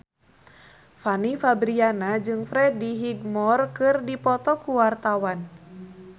Fanny Fabriana jeung Freddie Highmore keur dipoto ku wartawan